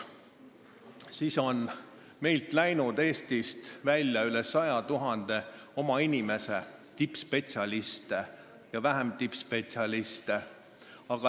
Eestist on läinud ära üle 100 000 oma inimese, tippspetsialiste ja väiksemaid spetsialiste.